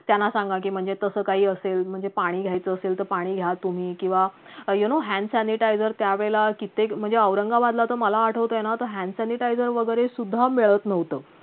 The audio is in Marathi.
त्यांना सांगा की म्हणजे तसं काही असेल म्हणजे पाणी घेयचं असेल तर पाणी घ्या तुम्ही किंवा unknow hand sanitizer त्यावेळेला कित्येक म्हणजे औरंगाबादला तर मला आठवतंयना तर hand sanitizer वैगरे सुद्धा मिळत नव्हतं